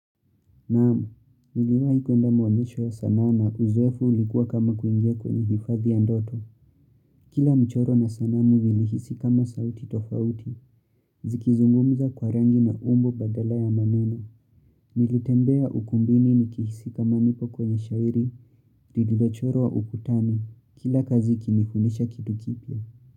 Naam, niliwahikuenda maonyesho ya sanaa na uzoefu ulikuwa kama kuingia kwenye hifadhi ya ndoto. Kila mchoro na sanamu vilihisi kama sauti tofauti, zikizungumza kwa rangi na umbo badala ya maneno. Nilitembea ukumbini ni kihisi kama nipo kwenye shairi, lililochorwa ukutani, kila kazi ikinifundisha kitu kipya.